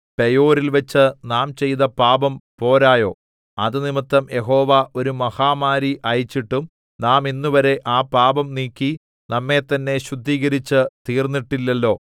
പെയോരിൽ വച്ച് നാം ചെയ്ത പാപം പോരായോ അതുനിമിത്തം യഹോവ ഒരു മഹാമാരി അയച്ചിട്ടും നാം ഇന്നുവരെ ആ പാപം നീക്കി നമ്മെത്തന്നെ ശുദ്ധീകരിച്ചു തീർന്നിട്ടില്ലല്ലോ